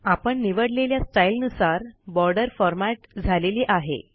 आपण निवडलेल्या स्टाईलनुसार बॉर्डर फॉरमॅट झालेली आहे